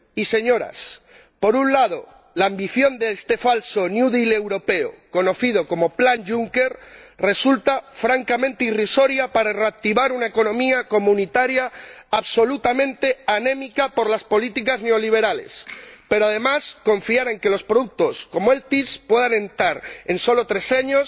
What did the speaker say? Señorías, por un lado, la ambición de este falso New Deal europeo conocido como Plan Juncker resulta francamente irrisoria para reactivar una economía comunitaria absolutamente anémica por las políticas neoliberales. Pero, además, confiar en que los productos como los FILPE puedan rentar en solo tres años